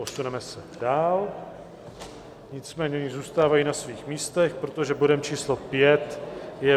Posuneme se dál, nicméně oni zůstávají na svých místech, protože bodem číslo 5 je